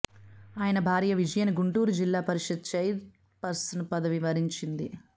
ఆయన భార్య విజయను గుంటూరు జిల్లా పరిషత్ చైర్ పర్సన్ పదవి వరించింది